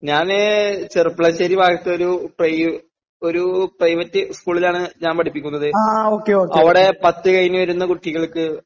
ഞാന് ചെറുപ്ലശ്ശേരി ഭാഗത്തൊരു പ്രൈ ഒരു പ്രൈവറ്റ് സ്കൂളിലാണ് ഞാൻ പഠിപ്പിക്കുന്നത്. അവടെ പത്ത് കഴിഞ്ഞു വരുന്ന കുട്ടികൾക്ക്